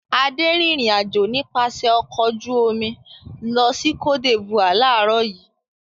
Adé rìnrìn-àjò nípasẹ̀ ọkọ̀ ojú-omi lọ sí Côte D'Ivoire láàárọ̀ yìí.